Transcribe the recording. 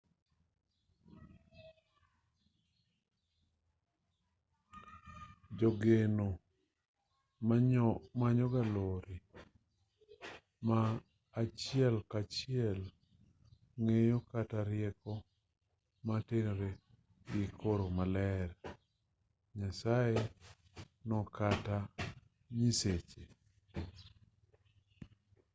jogeno manyoga lony ma achiel kachiel ng'eyo kata rieko motenore gi koro maler/nyasaye no kata nyiseche